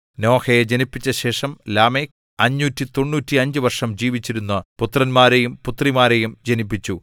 നോഹയെ ജനിപ്പിച്ച ശേഷം ലാമെക്ക് 595 വർഷം ജീവിച്ചിരുന്നു പുത്രന്മാരെയും പുത്രിമാരെയും ജനിപ്പിച്ചു